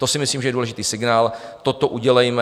To si myslím, že je důležitý signál, toto udělejme.